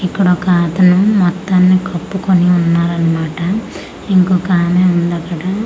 ఇక్కడ ఒకతను మొత్తాన్ని కప్పుకుని ఉన్నారన్నమాట ఇంకొక ఆమె ఉందక్కడ.